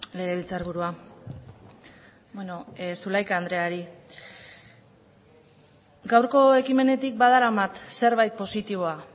legebiltzar burua beno zulaika andreari gaurko ekimenetik badaramat zerbait positiboa